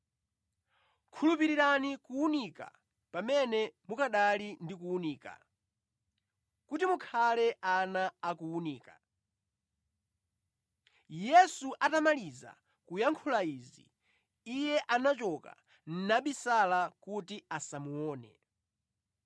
Khulupirirani kuwunika, pamene mukanali ndi kuwunika, kuti mukhale ana a kuwunika.” Yesu atamaliza kuyankhula izi, Iye anachoka nabisala kuti asamuone.